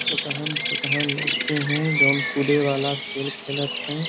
छोटहन छोटहन लइके हैं। जोवन कूदे वाला खेल खेलत हैं।